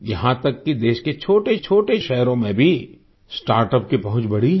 यहाँ तक कि देश के छोटेछोटे शहरों में भी स्टार्टअप की पहुँच बढ़ी है